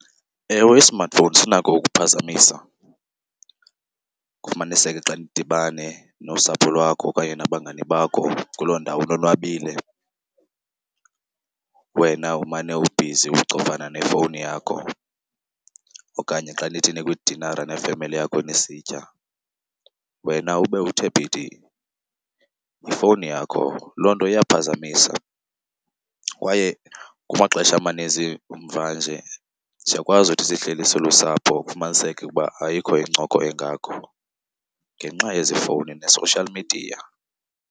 Ewe, i-smartphone sinako ukuphazamisa. Kufumaniseke xa nidibane nosapho lwakho okanye nabangani bakho kuloo ndawo nonwabile wena umane ubhizi ucofana nefowuni yakho. Okanye xa nithi nikwidinara nefemeli yakho nisitya wena ube uthe phithi yifowuni yakho. Loo nto iyaphazamisa kwaye kumaxesha amaninzi mvanje siyakwazi uthi sihleli silusapho kufumaniseke ukuba ayikho incoko engako ngenxa yezi fowuni ne-social media.